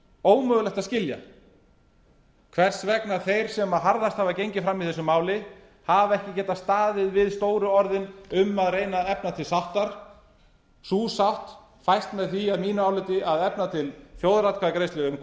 ómögulegt að skilja hvers vegna þeir sem harðast hafa gengið fram í þessu máli hafa ekki getað staðið við stóru orðin um að reyna að efna til sáttar sú sátt fæst með því að mínu áliti að efna til þjóðaratkvæðagreiðslu um